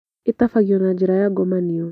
ĩtabagio na njĩra ya ngomanio